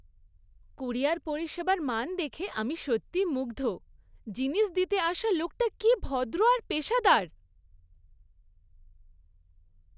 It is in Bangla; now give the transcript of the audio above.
ক্যুরিয়ার পরিষেবার মান দেখে আমি সত্যিই মুগ্ধ। জিনিস দিতে আসে লোকটা কী ভদ্র আর পেশাদার!